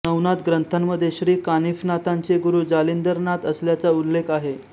नवनाथ ग्रंथांमध्ये र्शी कानिफनाथांचे गुरू जालिंदरनाथ असल्याचा उल्लेख आहे